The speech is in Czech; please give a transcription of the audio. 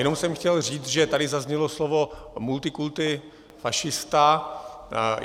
Jenom jsem chtěl říct, že tady zaznělo slovo multikulti fašista.